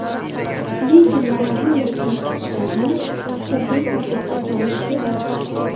Lekin mana bunday kamsitishlarni huquqiy tartibga solish kerak.